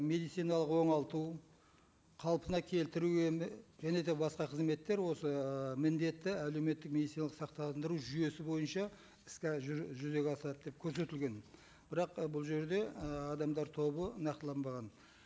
медициналық оңалту қалпына келтіру емі және де бақса қызметтер осы ыыы міндетті әлеуметтік медициналық сақтандыру жүйесі бойынша іске жузеге асырады деп көрсетілген бірақ ы бұл жерде ы адамдар тобы нақтыланбаған